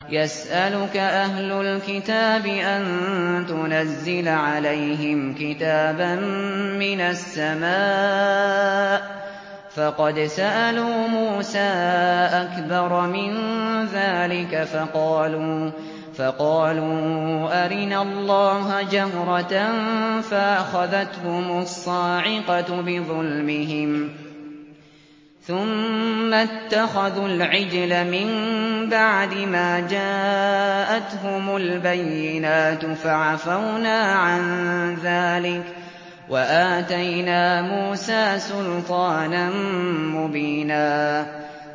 يَسْأَلُكَ أَهْلُ الْكِتَابِ أَن تُنَزِّلَ عَلَيْهِمْ كِتَابًا مِّنَ السَّمَاءِ ۚ فَقَدْ سَأَلُوا مُوسَىٰ أَكْبَرَ مِن ذَٰلِكَ فَقَالُوا أَرِنَا اللَّهَ جَهْرَةً فَأَخَذَتْهُمُ الصَّاعِقَةُ بِظُلْمِهِمْ ۚ ثُمَّ اتَّخَذُوا الْعِجْلَ مِن بَعْدِ مَا جَاءَتْهُمُ الْبَيِّنَاتُ فَعَفَوْنَا عَن ذَٰلِكَ ۚ وَآتَيْنَا مُوسَىٰ سُلْطَانًا مُّبِينًا